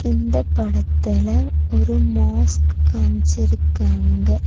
இந்தப் படத்துல ஒரு மோஸ்க் காம்ச்சிருக்காங்க.